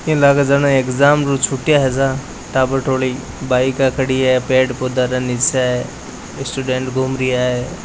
इन लागे जाने एग्जाम उ छुटिया है सा टाबर टोली बाइका खड़ी हैं पेड़ पौधा रे नीचे स्टूडेंट घूम रहिया है।